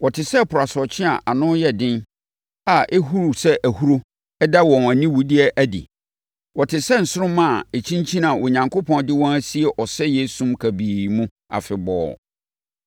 Wɔte sɛ ɛpo asorɔkye a ano yɛ den a ɛhuru sɛ ahuro da wɔn aniwudeɛ adi. Wɔte sɛ nsoromma a ɛkyinkyini a Onyankopɔn de wɔn asie ɔsɛeɛ esum kabii mu afebɔɔ.